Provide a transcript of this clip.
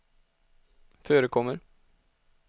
förekommer